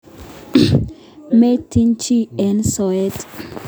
Maityin chi eng soet.